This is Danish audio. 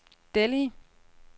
Delhi